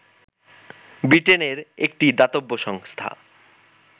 ব্রিটেনের একটি দাতব্য সংস্থা